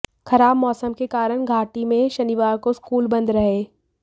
खराब मौसम के कारण घाटी में शनिवार को स्कूल बंद रहे